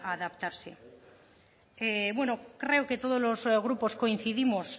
adaptarse bueno creo que todos los grupos coincidimos